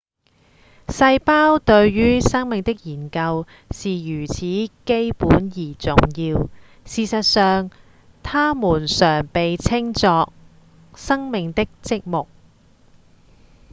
細胞對於生命的研究是如此基本而重要事實上它們常被稱作「生命的積木」